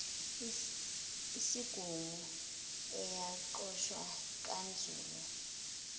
esigungu ayoqeqeshwa kanzulu